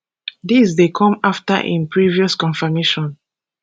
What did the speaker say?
dis dey come afta im previous confirmation